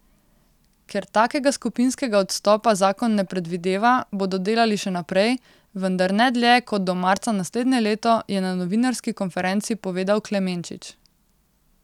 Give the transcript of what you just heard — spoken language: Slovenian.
Ker takega skupinskega odstopa zakon ne predvideva, bodo delali še naprej, vendar ne dlje kot do marca naslednje leto, je na novinarski konferenci povedal Klemenčič.